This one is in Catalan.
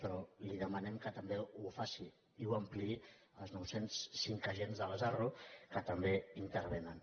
però li demanem que també ho faci i ho ampliï als nou cents i cinc agents de les arro que també intervenen